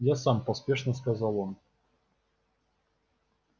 я сам поспешно сказал он